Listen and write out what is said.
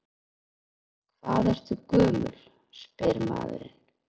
Hvað ertu gömul, spyr maðurinn.